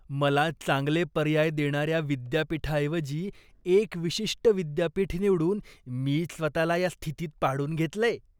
मला चांगले पर्याय देणाऱ्या विद्यापीठाऐवजी एक विशिष्ट विद्यापीठ निवडून मीच स्वतःला या स्थितीत पाडून घेतलंय.